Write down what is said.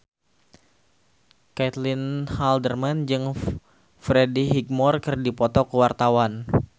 Caitlin Halderman jeung Freddie Highmore keur dipoto ku wartawan